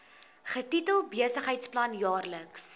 getitel besigheidsplan jaarlikse